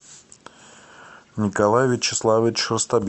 николай вячеславович